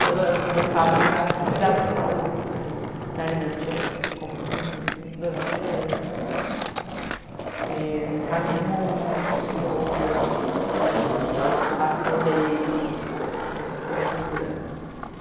estou voltada para cuidar da saúde, para alimento direito, como comida, durmo direito, caminho muito, pratico yoga, e faço reiki e acupuntura.